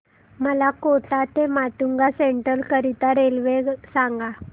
मला कोटा ते माटुंगा सेंट्रल करीता रेल्वे सांगा